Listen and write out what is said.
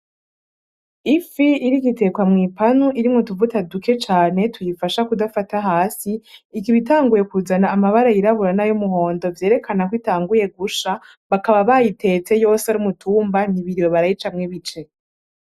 Ifi iriko itekwa mw'ipanu irimwo nutuvuta duke cane tuyifasha kudafata hasi ikaba itanguye kuzana amabara yirabura n'ayumuhondo vyerekanako itanguye gusha , bakaba bayitetse yose ar'umutumba ntibiriwe barayicamwo ibice .